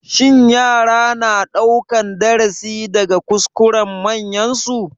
Shin yara na ɗaukan darasi daga kuskuren manyansu?